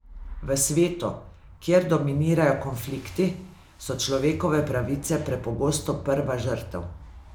V svetu, kjer dominirajo konflikti, so človekove pravice prepogosto prva žrtev.